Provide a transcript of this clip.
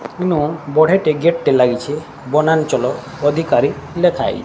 ଏଠିନ ବଢିଆ ଟେ ଗେଟ ଟେ ଲାଗିଛି ବନ୍ୟାଞ୍ଚଳ ଅଧିକାରୀ ଲେଖାହେଇ --